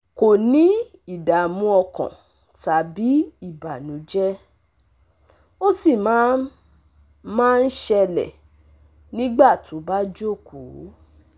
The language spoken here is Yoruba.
Kò ní ìdààmú ọkàn tàbí ìbànújẹ́, ó sì máa ń máa ń ṣẹlẹ̀ nígbà tó bá jókòó